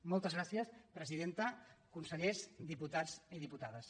moltes gràcies presidenta consellers diputats i dipu·tades